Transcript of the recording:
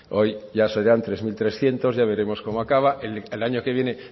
hoy ya serán tres mil trescientos ya veremos cómo acaba el año que viene